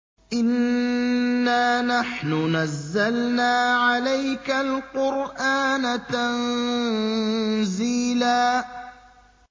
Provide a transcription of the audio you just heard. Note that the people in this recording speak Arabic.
إِنَّا نَحْنُ نَزَّلْنَا عَلَيْكَ الْقُرْآنَ تَنزِيلًا